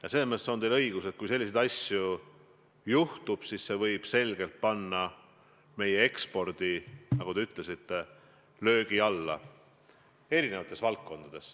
Ja selles mõttes on teil õigus, et kui selliseid asju juhtub, võib meie eksport eri valdkondades sattuda selgelt, nagu te ütlesite, löögi alla.